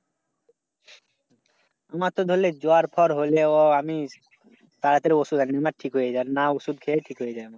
মাথা ধরলে জ্বর-ফর হলেও আমি তাড়াতাড়ি ঔষধ না ঔষধ খেলে ঠিক হয়ে যায়।